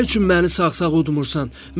Nə üçün məni sağ-sağ udmursan?